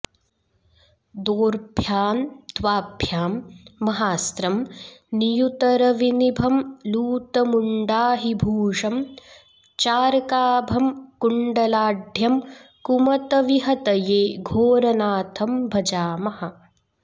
दोर्भ्यां द्वाभ्यां महास्त्रं नियुतरविनिभं लूतमुण्डाहिभूषं चार्काभं कुण्डलाढ्यं कुमतविहतये घोरनाथं भजामः